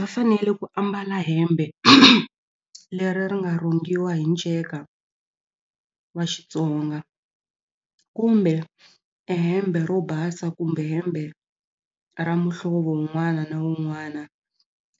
Va fanele ku ambala hembe leri ri nga rhungiwa hi nceka wa Xitsonga kumbe e hembe ro basa kumbe hembe ra muhlovo wun'wana na wun'wana